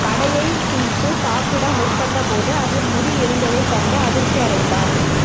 வடையை பிய்த்து சாப்பிட முற்பட்ட போது அதில் முடி இருந்ததை கண்டு அதிர்ச்சி அடைந்தார்